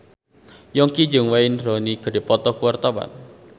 Yongki jeung Wayne Rooney keur dipoto ku wartawan